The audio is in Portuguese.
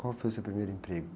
Qual foi o seu primeiro emprego?